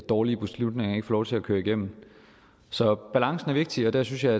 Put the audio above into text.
dårlige beslutninger ikke får lov til at køre igennem så balancen er vigtig og der synes jeg